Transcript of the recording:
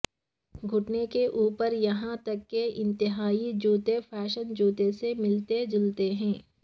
گھٹنے کے اوپر یہاں تک کہ انتہائی جوتے فیشن جوتے سے ملتے جلتے ہیں